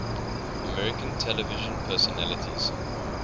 american television personalities